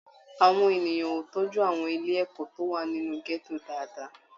Àwọn ènìyàn o tọjú àwọn ilé ẹ̀kọ́ tó wà nínú gẹto dáadáa.